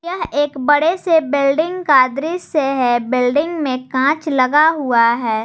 यह एक बड़े से बेल्डिंग का दृश्य है बेल्डिंग में कांच लगा हुआ है।